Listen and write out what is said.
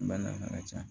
Bana ka ca